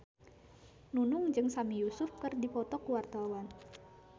Nunung jeung Sami Yusuf keur dipoto ku wartawan